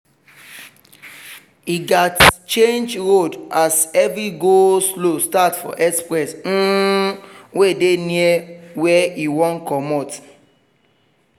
e gats change road as heavy go-slow start for express um wey dey near where e wan comot